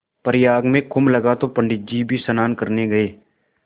प्रयाग में कुम्भ लगा तो पंडित जी भी स्नान करने गये